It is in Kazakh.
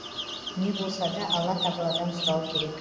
не болса да алла тағаладан сұрау керек